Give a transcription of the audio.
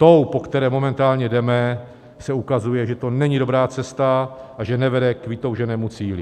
Ta, po které momentálně jdeme, se ukazuje, že to není dobrá cesta a že nevede k vytouženému cíli.